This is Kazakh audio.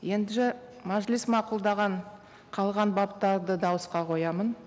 мәжіліс мақұлдаған қалған баптарды дауысқа қоямын